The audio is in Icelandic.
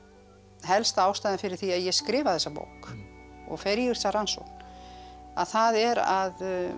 helsta ástæðan fyrir því að ég skrifa þessa bók og fer í þessa rannsókn að það er að